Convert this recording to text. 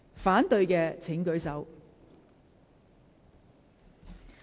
反對的請舉手。